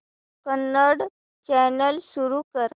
Kannada channel सुरू कर